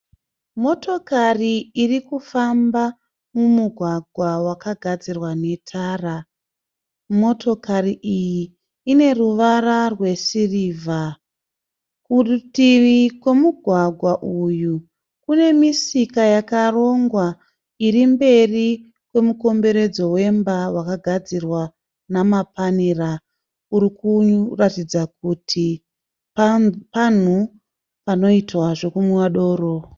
Motokari iri kufamba mumugwagwa wakagadzirwa netara. Motokari iyi ine ruvara rwesirivha. Kurutivi kwemugwagwa uyu kunemisika yakarongwa irimberi kwemukomberedzo wemba wakagadzirwa nemapanera urikuratidza kuti panhu panoitwa zvekunwiwa doro.